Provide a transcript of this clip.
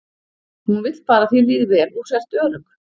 Hún vill bara að þér líði vel og sért örugg.